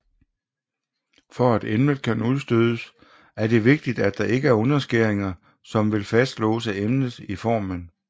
For at emnet kan udstødes er det vigtigt at der ikke er underskæringer som vil fastlåse emnet i formen